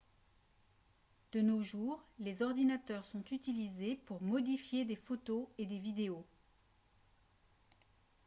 de nos jours les ordinateurs sont utilisés pour modifier des photos et des vidéos